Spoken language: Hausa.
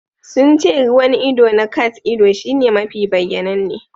Sun ce ruwan ido na cat-ido shine mafi bayyananne.